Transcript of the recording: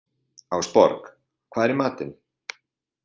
Ásborg, hvað er í matinn?